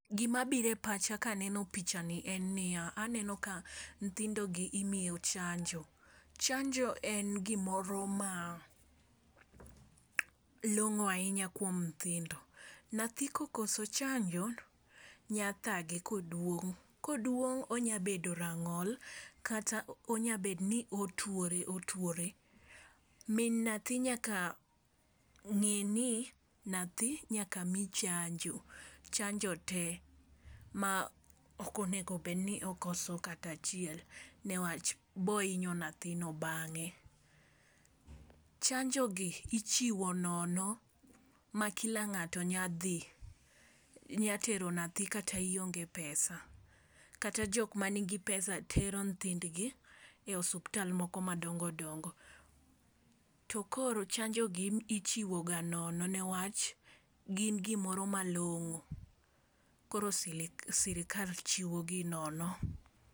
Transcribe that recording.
Gima bire pacha kaneno pichani en niya, aneno ka nthindo gi imiyo chanjo. Chanjo en gimoro ma long'o ahinya kuom nthindo . Nathi kokoso chanjo nyathage koduong' koduong' onya bedo rang'ol kata onya bet ni otuore otuore. Min nathi nyaka ng'i ni nathi nyaka mii chanjo chanjo te ma ok onego bedni okoso kata chiel newach, boinyo nathino bang'e. Chanjo gi ichiwo nono ma kila ng'ato nya tero nathi kata ionge pesa kata joma nigi pesa tero nthindgi e osiptal moko madongodongo. To koro chanjo gi ichiwo ga nono newach gin gimoro malong'o koro sili sirikal chiwo gi nono.